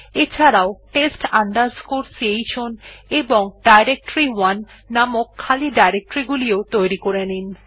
এছাড়াও test chown এবং directory one নামের খালি ডিরেকটরি গুলিও তৈরী করে নিন